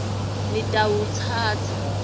nitawutsatsa